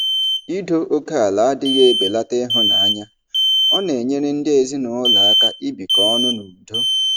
Ido oke ala adịghị ebelata ịhụnanya; ọ na-enyere ndị ezinụlọ aka ibikọ ọnụ n'udo.